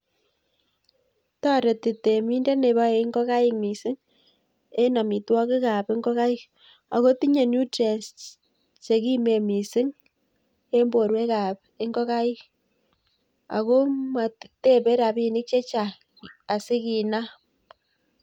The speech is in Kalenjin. Toreti temindet neboe ing'okaik mising en amitwokikab ing'okaik ak kotinye nutrients chekimen mising en borwekab ing'okaik ak ko motebe rabinik chechang asikinaam.